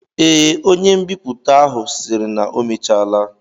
Ee, onye mbipụta ahụ sịrị na ọ mechaala